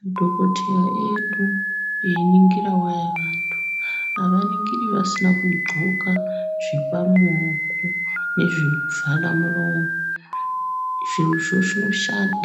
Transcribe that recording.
Madhokoteya edu eyiningira vaya vantu ava ningira vasina ku ndxoka zvepa maoko ne zveku vhala muromo zvirozvo zvino